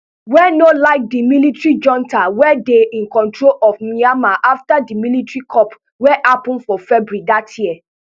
wey no like di military junta wey dey in control of myanmar afta di military coup wey happun for february dat year